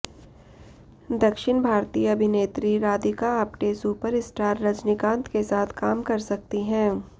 दक्षिण भारतीय अभिनेत्री राधिका आप्टे सुपरस्टार रजनीकांत के साथ काम कर सकती हैं